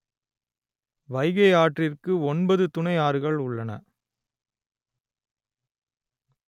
வைகை ஆற்றிற்கு ஒன்பது துணை ஆறுகள் உள்ளன